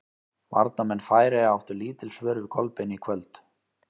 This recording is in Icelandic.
Varnarmenn Færeyja áttu lítil svör við Kolbeini í kvöld.